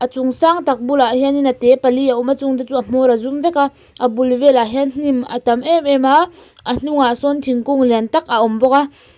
a chung sangtak bulah hianin a te pali a awm a chungte chu a hmawr a zum veka a bul velah hian hnim a tam emem a a hnungah sawn thingkung liantak a awm bawk a--